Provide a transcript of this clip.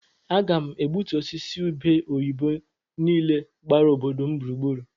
A ga m egbutu osisi ube oyibo niile gbara obodo m gburugburu.